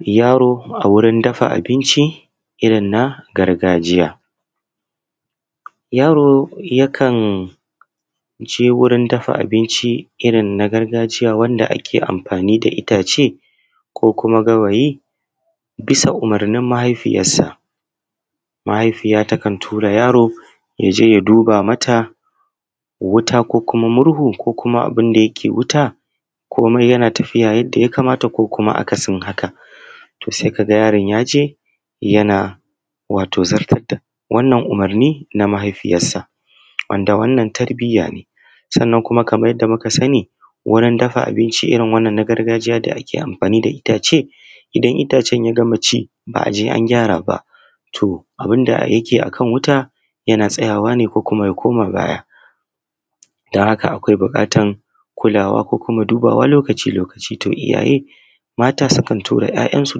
Yaro a wurin dafa abinci irin na gargajiya. Yaro yakan je wurin dafa abinci irin na gargajiya wanda ake amfani da itace ko gawayi bisa umurnin mahaifiyansa mahaifiya, takan tura yaro ya je ya duba mata ruwa ko kuma murhu ko kuma abun da yake wuta komai yana tafiya yadda ya kamata ko kuma akasin haka. Se ka ga yaron ya je ya zartan da wannan umurni na mahaifiyansa wanda wannan tarbiya ne, sannan kuma kaman yadda muka sani wurin dafa abinci irin wannan na gargajiya yake amfani da itace idan itacen ya mace in ba a je an gyara ba. to, abun da yake akan wuta yana tsayawa ne ko kuma ya koma gaya dan haka akwai buƙatan kulawa ko kuma dubawa lokaci lokaci to iyaye mata sukan tura ‘ya’yansu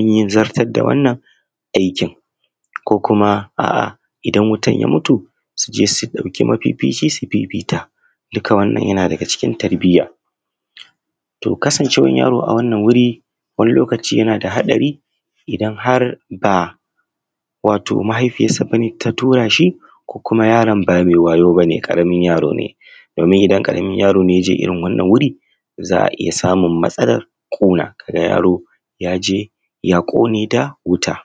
yin zartar da wanna aikin ko kuma aa idan wutan yam utu suje su ɗauki mafici su fifita duka wannan yana daga cikin tarbiyya to kasancewan yaro a wanan wuri wani lokaci yana da haɗari idan har ba wato mahifian sa bane ta turashi ko kuma yaron bame wayo ba ne ƙaramin yaro ne domin ƙaramin yaro ne ya je wurin wannan wuri za a iya samun matsalar ƙona ka ga yaro ya je ya ƙone da wuta.